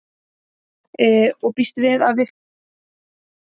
Og býst við að fá eitthvað?